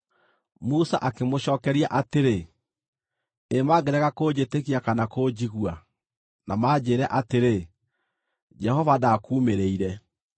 Musa akĩmũcookeria atĩrĩ, “Ĩ mangĩrega kũnjĩtĩkia kana kũnjigua, na manjĩĩre atĩrĩ, ‘Jehova ndakuumĩrĩire?’ ”